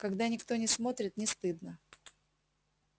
когда никто не смотрит не стыдно